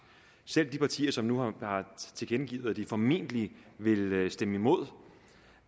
selv de partier som har tilkendegivet at de formentlig vil stemme imod